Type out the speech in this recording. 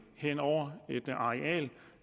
hen over et areal